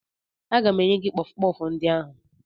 Aga m enye gị kpọfụ kpọfụ ndị ahụ